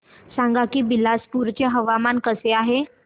सांगा की बिलासपुर चे हवामान कसे आहे